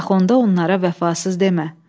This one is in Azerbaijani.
Bax onda onlara vəfasız demə.